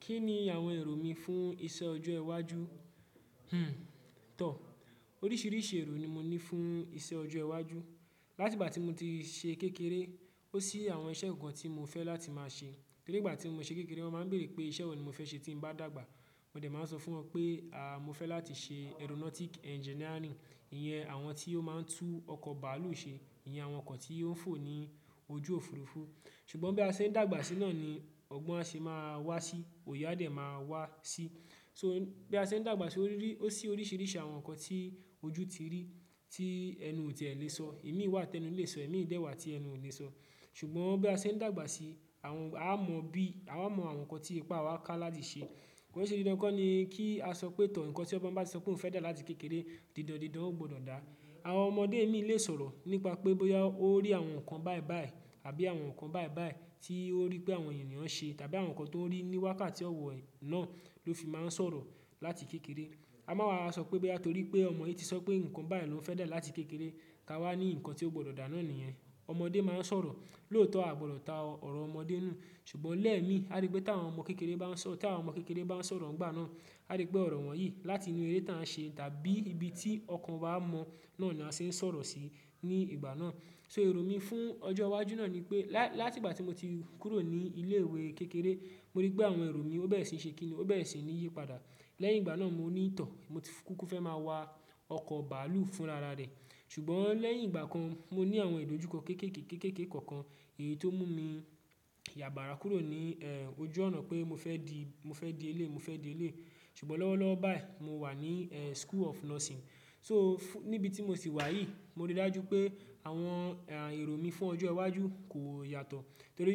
Kí ni àwọn èrò mi fún iṣẹ́ ọjọ́ iwájú? Tọ. Oríṣìíríṣìí èrò ni mo ní fún iṣẹ́ ọjọ́ iwájú. Látìgbà tí mo ti ṣe kékeré, ó sí àwọn iṣẹ́ kan tí mo fẹ́ láti máa ṣe. Torí ìgbà tí mo ṣe kékeré wọ́n máa ń bèèrè pé iṣẹ́ wo ni mo fẹ́ ṣe tí mbá dàgbà. Mo dẹ̀ máa n sọ fún wọn pé, mo fẹ́ láti ṣe aeronautic engineering. Iyẹn àwọn tí ó máa ń tú ọkọ̀ bàálù ṣe. Iyẹn àwọn oko tí ó ń fò ní ojú òfuurufú. Ṣùgbọ́n bí a ṣe ń dàgbà sí náà ni ọgbọ́n a ṣe máa wá sí, òye a dẹ̀ máa wá sí. So bí a ṣe ń dàgbà sí ó rí-- ó sí oríṣìíríṣìí àwọn nǹkan tí ojú ti rí tí ẹnu ò tíe lè sọ. Imii wà tẹ́nu lé sọ, imii dẹ́ wà tí ẹnu ò lè sọ. Ṣùgbọ́n bí a ṣe ń dàgbà sí, àwọn a mọ̀ bí, a mọ àwọn nǹkan tí ipá wa ká láti ṣe. Ko n ṣẹ́ dídán kọ́ ni kí a sọ pé tọ́ ǹnkan tí ọmọ bá ti sọ pé òun fẹ́ dà láti kékeré, dídándidán ó gbọdọ̀ dà. Àwọn ọmọdé imii lè sọ̀rọ̀ nípa pé bóyá ó rí àwọn nǹkan báì báì àbí àwọn nǹkan báì báì tí ó rí pé àwọn ènìyàn n ṣe tàbí àwọn nǹkan tó n rí níwákàtí ọ̀wọ́ náà ló fi máa ń sọ̀rọ̀ láti kékeré. Ka máa wá sọ pé boya torí pé ọmọ yìí ti sọ ipé nǹkan bá yìí ló uń fẹ́ dà láti kékeré, ká wá ní nǹkan tí ó gbọdọ̀ dà náà nìyẹn. Ọmọdé máa ń sọ̀rọ̀, lóòótọ́ a gbọdọ̀ ta ọ̀rọ̀ ọmọdé nù. Ṣùgbọ́n lẹ́ẹ̀mi, a rí pé t' àwọn ọmọ kékeré bá ń sọ-- tí àwọn ọmọ kékeré bá ń sọ̀rọ̀ ńgbà náà, a rí pé ọ̀rọ̀ wọ̀nyí láti inú eré tá ń ṣe tàbí ibi tí ọkàn wá mọ̀ náà ni a ṣe ń sọ̀rọ̀ sí ní ìgbà náà. So èrò mi fún ọjọ́ wájú náà ni pé lá-- látìgbà tí mo ti kúrò ní ilé ìwé kékeré, mo rí pé àwọn èrò mi ó bẹ́rẹ̀ sì ṣe kíni, ó bẹ́rẹ̀ sì ní yípadà. Lẹ́yìn ìgbà náà mo ní ì tọ̀, mo ti kúkú fẹ́ máa wá ọkọ̀ bàálù fún rara rẹ̀. Ṣùgbọ́n lẹ́yìn ìgbà kan mo ní àwọn ìdojúkọ kéékèèké, kéékèèké kọ̀ọ̀kan èyí tó mú mi yàbára kúrò ní, ojú ọ̀nà pé mo fẹ́ di, mo fẹ́ di elée, mo fẹ́ di elée. Ṣùgbọ́n lọ́wọ́lọ́wọ́ báyìí mo wà ní, school of Nursing. So fún-- níbi tí mo sì wà yìí, mo rí dájú pé àwọn, èrò mi fún ọjọ́ iwájú kò yàtọ̀. Torí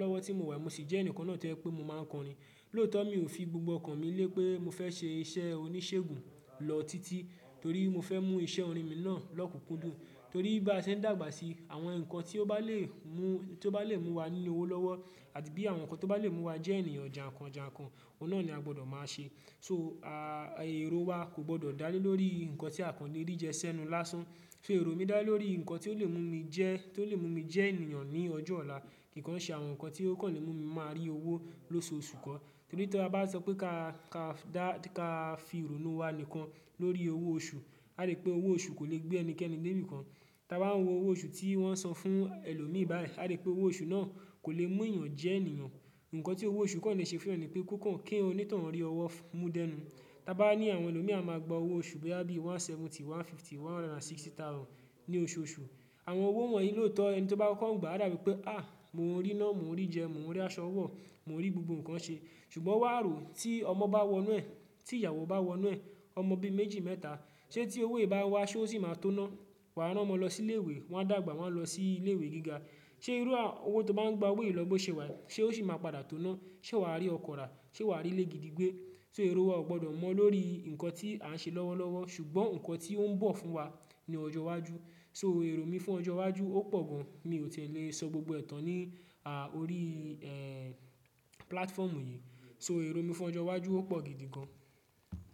lọ́wọ́ tí mo wà mo sì jẹ́ ẹniyan kan náà tó jẹ́ pé mo máa ń kọrin. Lóòótọ́ mi ò fi gbogbo ọkàn mi lé pé mo fẹ́ ṣe iṣẹ́ oníṣègùn lọ títí torí mo fẹ́ mú iṣẹ́ orin mi náà lọ́kùnkúndùn. Torí bí a ṣe ń dàgbà sí, àwọn nǹkan tí ó bá lè mú, tí ó bá lè mú wa ní owó lọ́wọ́ àbí àwọn nǹkan tó bá lè mú wa jẹ́ ènìyàn jàǹkàn jàǹkàn, oun náà ni a gbọdọ̀ máa ṣe. So, èrò wa kò gbọdọ̀ dà lé lórí nǹkan tí à kàn lé rí jẹ ṣẹ́nu lásán. So èrò mi dà lórí nǹkan tí ó lè mú mi jẹ́, tí ó lè mú mi jẹ́ ènìyàn ní ọjọ́ ọ̀la. Kìkàn ṣé àwọn nǹkan tí ó kàn lè mú mi máa rí owó lóṣoọṣù kọ́. Torí tí a bá sọ pé ká, ká dà, ká fi ironu wá nìkan lórí owó oṣù, a rí pé owó oṣù kò le gbé ẹnikẹ́ni lébi kan. Taa bá ń wo owó oṣù tí wọ́n san fún ẹlòmíì báyìí, a rí pé owó oṣù náà kò le mú ènìyàn jẹ́ ènìyàn. Ǹǹkan tí owó oṣù kàn lè ṣe fún yan ni pé kó kàn kí oní tọ́un rí ọwọ́ mú dẹ́nu. Taa bá ní àwọn ẹlòmíì a máa gba owó oṣù bóyá bíi one seventy, one fifty, one hundred and sixty thousand ní oṣooṣù. Àwọn owó wọ̀nyí lóòótọ́ ẹni tó bá kóko ngbà a dà bíi pé, "mo ń rí ná, mo ń rí jẹ, mo ń rí aṣọ ọwọ́, mo ń rí gbogbo nǹkan ṣe." Ṣùgbọ́n wà á rò ó tí ọmọ bá wọnú ẹ̀, tí ìyàwó bá wọnú ẹ̀, ọmọ bí i méjì mẹ́ta. Ṣé tí owó yìí bá n wá ṣé ó sì máa tóo ná? Waa rán ọmọ lọ sí ilé ìwé, wọ́n dàgbà w'an á lọ sí ilé ìwé gíga. Ṣé irú à-- owó tó bá ń gba wò yí lọ bọ́ ṣe wá? Ṣé ó sì máa padà tóná? Ṣé wà á rí ọkọ̀ rà? Ṣé wà á rí ilé gidi gbé? So èrò wa ò gbọdọ̀ mọ̀ lórií nǹkan tí à ń ṣe lọ́wọ́lọ́wọ́ ṣùgbọ́n nǹkan tí ó ńbọ̀ fún wa ní ọjọ́ wájú. So èrò mi fún ọjọ́ iwájú ó pọ̀ gan mi ò tiẹ̀ lè sọ gbogbo ẹ̀ tán ní orí pkatfoomu yí. So èrò mi fún ọjọ́ iwájú ó pọ̀ gidi gan.